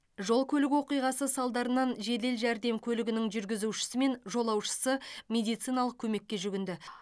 жол көлік оқиғасы салдарынан жедел жәрдем көлігінің жүргізушісі мен жолаушысы медициналық көмекке жүгінді